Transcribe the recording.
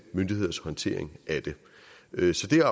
myndigheders håndtering af det så det er